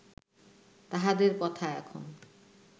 তাঁহাদের কথা এখন